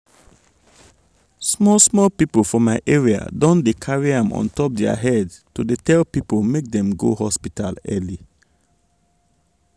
small small people for my area don dey carry am on top their head to dey tell people make dem go hospital early.